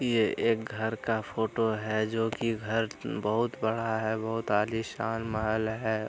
ये एक घर का फोटो है जो की घर बहुत बड़ा है बहुत आलीशान महल है।